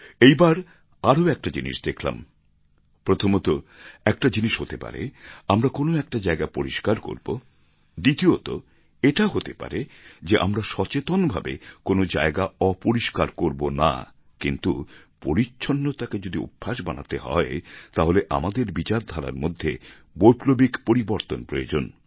এই বার আরও একটা জিনিস দেখলাম প্রথমতঃ একটা জিনিস হতে পারে আমরা কোনো একটা জায়গা পরিষ্কার করবো দ্বিতীয়তঃ এটা হতে পারে যে আমরা সচেতন ভাবে কোনও জায়গা অপরিষ্কার করবো না কিন্তু পরিচ্ছন্নতাকে যদি অভ্যাস বানাতে হয় তাহলে আমাদের বিচারধারার মধ্যে বৈপ্লবিক পরিবর্তন প্রয়োজন